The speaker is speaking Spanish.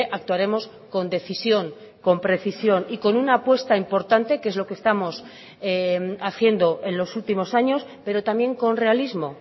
actuaremos con decisión con precisión y con una apuesta importante que es lo que estamos haciendo en los últimos años pero también con realismo